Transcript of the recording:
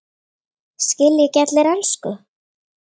Skilja ekki allir ensku?